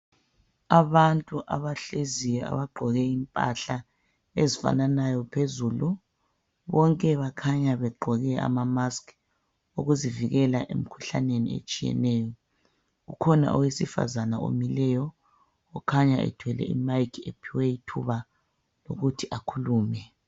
Abantu abahleziyo abagqoke impahla ezifananayo phezulu. Bonke bakhanya begqoke ama masks ukuzivikela emikhuhlaneni etshiyeneyo. Kukhona owesifazana omileyo , kukhanya ethwele imic ephiwe ithuba lokuthi akhulume.